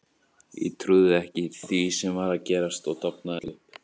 Ég trúði ekki því sem var að gerast og dofnaði öll upp.